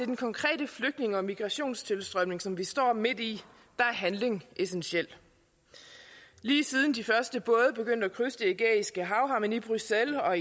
den konkrete flygtninge og migrationstilstrømning som vi står midt i er handling essentiel lige siden de første både begyndte at krydse det ægæiske hav har man i bruxelles og